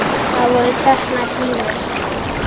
Það voru teknar dýfur.